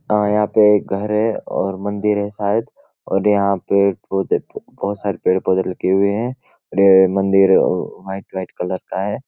हाँ यहाँ पे एक घर है और मंदिर है शायद और यहाँ पे बहौत सारे पेढ़-पौधे लगे हुए हैं ये मंदिर वाइट-वाइट कलर का है।